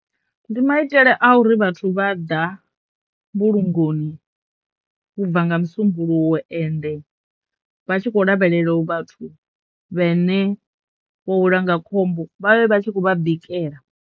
Ndi maitele a uri vhathu vha ḓa mbulungoni ubva nga musumbuluwo ende vha tshikho lavhelela u vhathu vhene vho welwa nga khombo vhavhe vha tshi khou vha bikela.